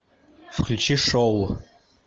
включи шоу